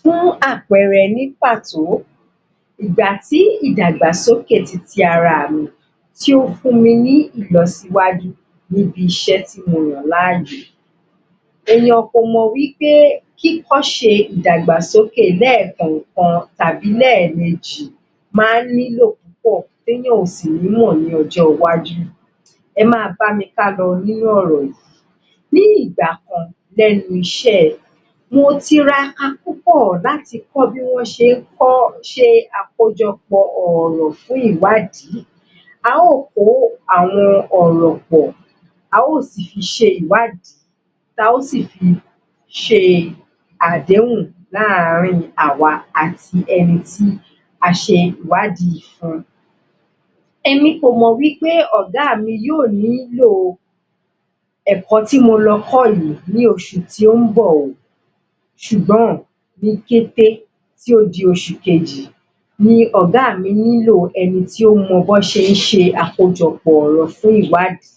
Fún àpẹẹrẹ, ní pàtó ìgbà tí ìdàgbàsókè titi ara mi tí o fún mí ni ìlọsíwájú ní bi iṣẹ́ tí mo yàn láàyò. èèyàn kò mọ̀ wí pé kí kọ́ ṣe ìdàgbàsókè lẹ́ẹ̀kan kan tàbí lẹ́ẹ̀mejì máa ń nílò púpọ̀ tí èèyàn ò sì ní mọ̀ ní ọjọ́ iwájú Ẹ máa bá mi ká lọ nínú ọ̀rọ̀ yìí ní ìgbà kan, lẹ́nu iṣẹ́ ẹ mo tiraka púpọ̀ láti kọ́ bí wọ́n ṣé kọ́ ṣe àkójọpọ̀ ọ̀rọ̀ fún ìwádìí a ó kó àwọn ọ̀rọ̀ pọ̀ a ó si fi ṣe ìwádìí ta ó si fi ṣe àdéhùn láàrin àwa àti ẹni tí A ṣe ìwádìí fun èmi kò mọ̀ wí pé ọ̀gá mi yóò nílò ẹ̀kọ́ tí mo lọ kọ́ yìí ní oṣù tó ń bọ̀ ṣùgbọ́n ní kété tí o di oṣù kejì Ni ọ̀gá mi nílò ẹni tí ó mọ bí wọ́n ṣe ń ṣe àkójọpọ̀ ọ̀rọ̀ fún ìwáàdí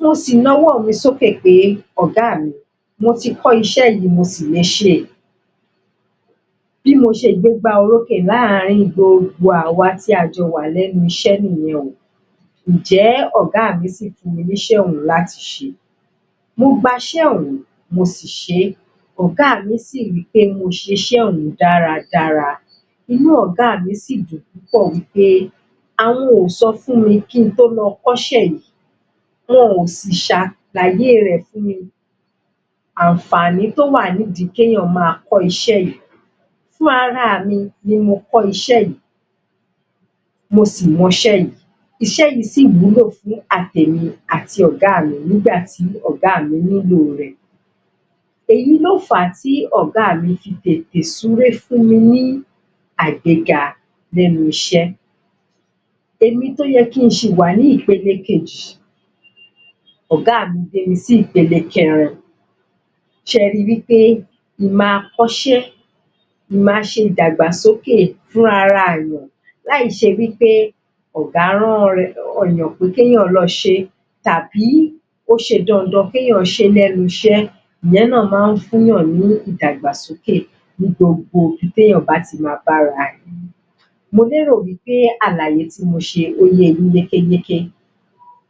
Mo sì náà ọwọ́ mi sókè pé ọ̀gá mi mo ti kọ́ iṣẹ́ yìí, mo sì le ṣé bí mo ṣe gbégbá orókè láàrin gbogbo àwọn tí a jọ ń ṣiṣẹ́ Ǹjẹ́ ọ̀gá mi sì fún mi ní iṣẹ́ ọ̀un láti ṣe, mo gba iṣẹ́ ọ̀ún, mo sì ṣé ọ̀gá mi si sọ pé mo ṣiṣẹ́ ọ̀un dáradára inú ọ̀gá mi sì dùn. púpọ̀ wí pé àwọn ò sọ fún mi kí n tó lọ kọ́ iṣẹ́ yìí wọn ò sì gbàgbé rẹ̀ fún mi Àǹfààní tó wà nídi kí èèyàn máa kọ́ iṣẹ́ yìí fún ara mi ni mo kọ́ iṣẹ́ yìí mo sì mọ iṣẹ́ yìí iṣẹ́ yìí sì wúlò fún àti èmi, àti ọ̀gá mi nígbà tí ọ̀gá mí nílo rẹ̀. Èyí ló fàá tí ọ̀gá mi fi tètè súré fún mi àgbéga lẹ́nu iṣẹ́ èmi tó yẹ kí n ṣì wà ní ipele kejì, ọ̀gá mi gbé mi si ipele kẹ́rin, ṣe ri pé, ì máa kọ́ ṣẹ́, ì máa ṣe ìdàgbàsókè fún ara èèyàn, lá ì ṣe wí pé ọ̀gá rán èèyàn pé kí èèyàn lọ ṣe tàbí ó ṣe dandan, kéèyàn ṣe lẹ́nu iṣẹ́ ìyẹn náà máa ń fún yàn ní ìdàgbàsókè, ní gbogbo ibi tí èèyàn bá ti máa bá ara rẹ̀. Mo lérò pé àlàyé mi ye yín yékéyéké.